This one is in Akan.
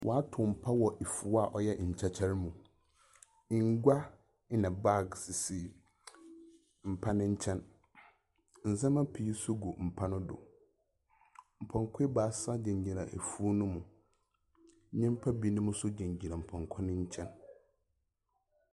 Wɔatow mpa wɔ efuw a ɔyɛ nkyɛkyɛr mu. Ngua na bag sisi mpa no nkyɛn. Ndzɛma pii nso gu mpa no do. Mpɔnkɔ ebaasa gyinagyina efuw no mu. Nyimpa binom nso gyinagyina mpɔnkɔ no nkyɛn.